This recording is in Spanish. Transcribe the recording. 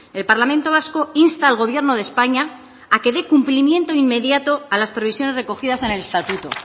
el parlamento vasco insta al gobierno de españa a que dé cumplimiento inmediato a las previsiones recogidas en el estatuto